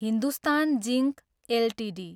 Hindustan zinc Ltd